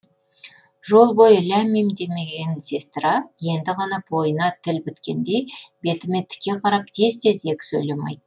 жол бойы ләм мим демеген сестра енді ғана бойына тіл біткендей бетіме тіке қарап тез тез екі сөйлем айт